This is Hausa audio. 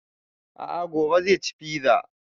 A'a gobe zai ci fiza